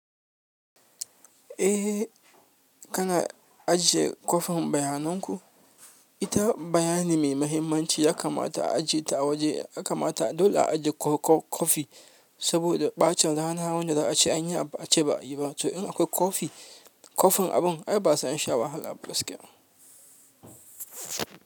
Eh kana ajiye copy bayanan ku ita bayani mai mahimmanci yakamata a ajiye ta awaje dole a ajiye copy saboda ɓacin rana wanda za a ci anyi abu ace ba a yi ba. To in akwai kofi, kofin abun ai basu an sha wahala a gaskiya.